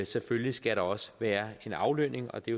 selvfølgelig skal der også være en aflønning og det